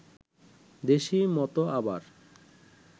দেশী মত আবার